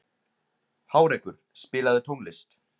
Hárekur, spilaðu tónlist.